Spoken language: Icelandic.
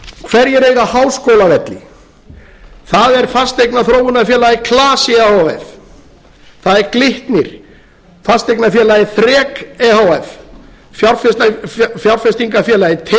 hverjir eiga háskólavelli það er fasteignaþróunarfélagið klasi e h f það er glitnir fasteignafélagið þrek e h f fjárfestingafélagið teigur